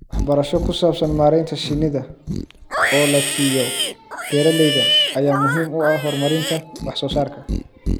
Waxbarasho ku saabsan maareynta shinnida oo la siiyo beeralayda ayaa muhiim u ah horumarinta wax soo saarka.